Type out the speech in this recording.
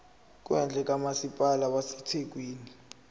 kwendle kamasipala wasethekwini